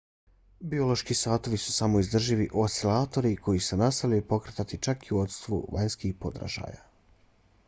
biološki satovi su samoodrživi oscilatori koji se nastavljaju pokretati čak i u odsustvu vanjskih podražaja